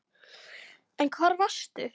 En hvar varstu?